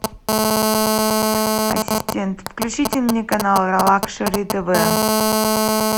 ассистент включите мне канал лакшери тв